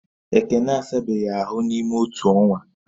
Ekene asabeghi ahu n’ịme otu ọnwa